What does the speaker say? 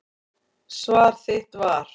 Svar þitt var.